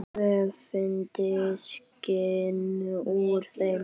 Öfundin skín úr þeim.